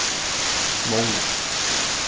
Móna